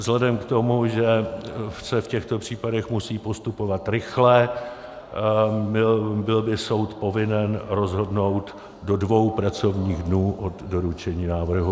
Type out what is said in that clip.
Vzhledem k tomu, že se v těchto případech musí postupovat rychle, byl by soud povinen rozhodnout do dvou pracovních dnů od doručení návrhu.